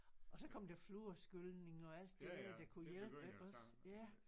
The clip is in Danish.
Og så kom der fluorskylning og alt det der der kunne hjælpe iggås ja